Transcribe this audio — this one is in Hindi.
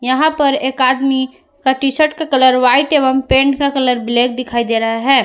यहां पर एक आदमी का टीशर्ट का कलर व्हाइट एवं पैंट का कलर ब्लैक दिखाई दे रहा है।